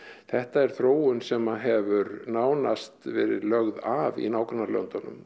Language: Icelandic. þetta er þróun sem hefur nánast verið lögð af í nágrannalöndunum